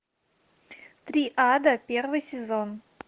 три ада первый сезон